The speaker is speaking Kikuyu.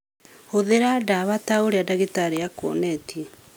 Hũthĩra ndawa ta ũrĩa ndagĩtarĩ akuonetie.